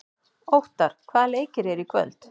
Óttarr, hvaða leikir eru í kvöld?